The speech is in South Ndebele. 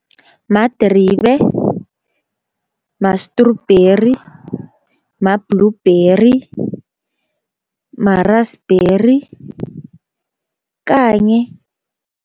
Madribe, ma-strawberry, ma-blueberry, ma-raspberry kanye